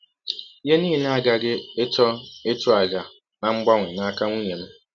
Ihe a nile aghaghị ịchọ ịchụ àjà na mgbanwe n’aka nwụnye m.